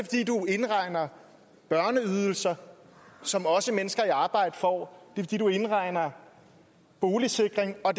indregner børneydelser som også mennesker i arbejde får fordi du indregner boligsikring og